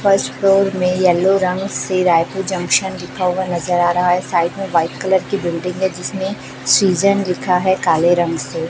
First floor में yellow रंग से रायपुर जंक्शन लिखा हुआ नजर आ रहा है साइड में व्हाइट कलर की बिल्डिंग है जिसमें सीजन लिखा है काले रंग से।